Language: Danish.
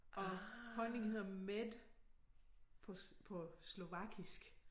Og honning hedder med på på slovakisk